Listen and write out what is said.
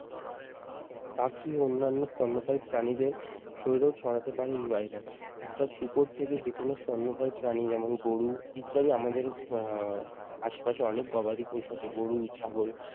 পাখি ও অন্যান্য স্তন্যপায়ী প্রাণীদের শরীরেও ছড়াতে পারে এই ভাইরাস। অর্থাৎ শুকর থেকে যেকোনো স্তন্যপায়ী প্রাণী যেমন, গরু ইত্যাদি আমাদের আহ আসে পাশে অনেক গবাদি পশু আছে গরু, ছাগল।